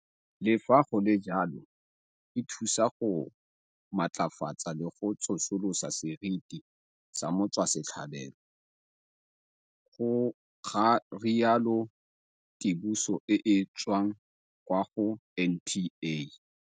Le fa go le jalo, e thusa go matlafatsa le go tsosolosa seriti sa motswasetlhabelo, ga rialo tsiboso e e tswang kwa go NPA.